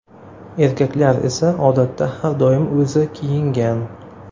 Erkaklar esa, odatda, har doim o‘zi kiyingan.